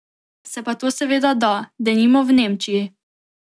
Se pa to seveda da, denimo v Nemčiji.